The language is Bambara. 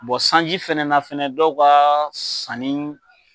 sanji fana na fɛnɛ dɔw ka sanni